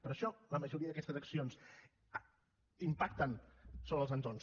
per això la majoria d’aquestes accions impacten sobre els entorns